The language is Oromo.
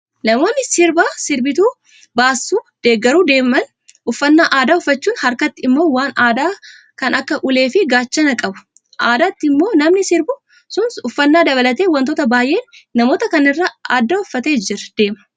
Namoonni sirba sirbituun baasu deeggaruu deeman uffannaa aadaa uffachuun harkatti immoo waan aadaa kan akka ulee fi gaachanaa qabu. Addatti immoo namni sirbu sun uffannaa dabalatee wantoota baay'een namoota kaanirraa adda uffatee deema.